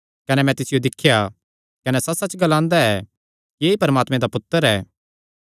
कने मैं तिसियो दिख्या कने सच्चसच्च ग्लांदा ऐ कि ऐई परमात्मे दा पुत्तर ऐ